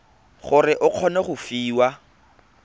gore o kgone go fiwa